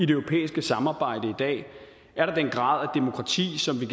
europæiske samarbejde i dag er der den grad af demokrati som vi